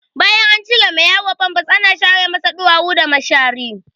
Bayan an cire ma yaro famfas ana share masa ɗuwawu da mashari.